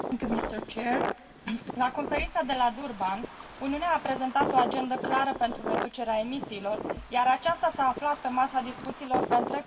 La Conferința de la Durban, Uniunea a prezentat o agendă clară pentru reducerea emisiilor, iar aceasta s a aflat pe masa discuțiilor pe întreg parcursul conferinței.